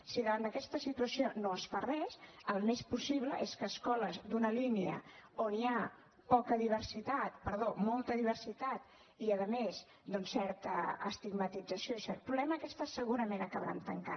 si davant d’aquesta situació no es fa res el més possible és que escoles d’una línia on hi ha molta diversitat i a més doncs certa estigmatització i cert problema aquestes segurament acabaran tancant